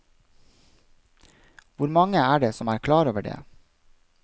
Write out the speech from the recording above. Hvor mange er det som er klar over det?